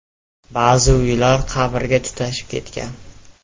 Ba’zi uylar qabrlarga tutashib ketgan.